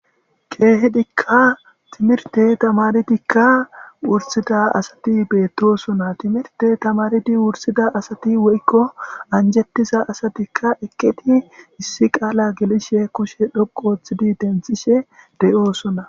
keehedikka timirte tamaridikka wursida asati beettosona timirte tamaridi wursida asati woykko anjettiza asatikka eketi issi qaala gelishe kushe dhoqooththidi denthishe de7oosona